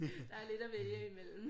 Der er lidt at vælge imellem